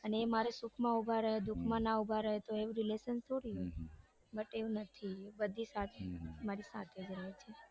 અને એ મારા સુખમાં ઉભા રે દુઃખમાં ના ઉભા રે તો એવું relation થોડું હોય but એવું નથી બધી જ મારી સાથે રે છે.